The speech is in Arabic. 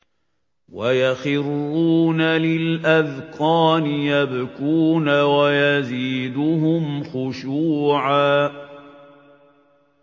وَيَخِرُّونَ لِلْأَذْقَانِ يَبْكُونَ وَيَزِيدُهُمْ خُشُوعًا ۩